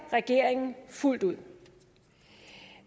regeringen fuldt ud